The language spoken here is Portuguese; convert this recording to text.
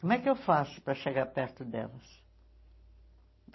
Como é que eu faço para chegar perto delas?